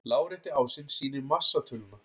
Lárétti ásinn sýnir massatöluna.